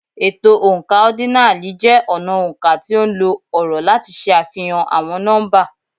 Ètò oǹkà ọ́dínààlí jẹ́ ọnà oǹkà tí ó nlo ọ̀rọ̀ láti ṣe àfihàn àwọn nọ́mbà.